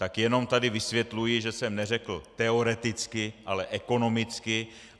Tak jenom tady vysvětluji, že jsem neřekl teoreticky, ale ekonomicky.